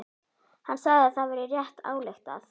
Hann sagði að það væri rétt ályktað.